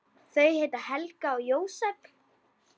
Þau heita Helga og Jósep.